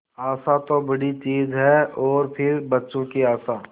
आशा तो बड़ी चीज है और फिर बच्चों की आशा